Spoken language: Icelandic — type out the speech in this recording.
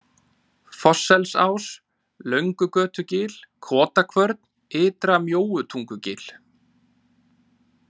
Fossselsás, Löngugötugil, Kotakvörn, Ytra-Mjóutungugil